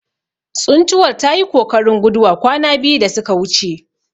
Tsuntuwar tayi kokarin guduwa kwana biyu da suka wuce.